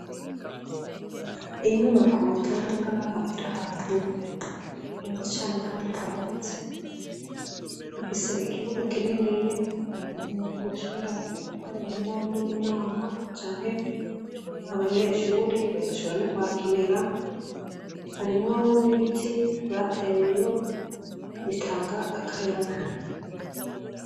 Iyi nyubako tubona ngaha iri ahantu heza cane kandi hagutse, ifise ikibuga kininiya abantu boshobora gukoreramwo n'amanama canke abanyeshuri bagashobora n'ukuhakinira, harimwo n'ibiti bateyeyo bitanga akayaba.